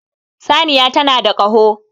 Saniya tana da Kaho